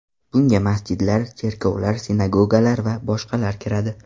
Bunga masjidlar, cherkovlar, sinagogalar va boshqalar kiradi.